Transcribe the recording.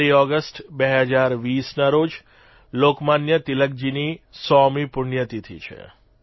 1લી August 2020ના રોજ લોકમાન્ય તિલકજીની 100મી પુણ્યતિથિ છે